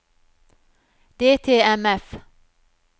DTMF